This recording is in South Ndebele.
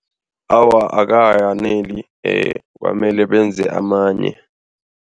Awa, akayaneli kwamele benze amanye.